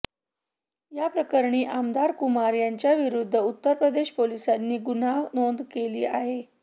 याप्रकरणी आमदार कुमार यांच्याविरुद्ध उत्तर प्रदेश पोलिसांनी गुन्हा नोंद केला आहे